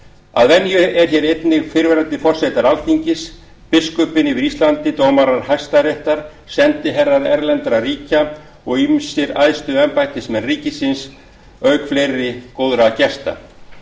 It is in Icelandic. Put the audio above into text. að venju eru hér einnig fyrrverandi forsetar alþingis biskupinn yfir íslandi dómarar hæstaréttar sendiherrar erlendra ríkja og ýmsir æðstu embættismenn ríkisins auk fleiri góðra gesta